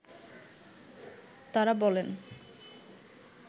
তারা বলেন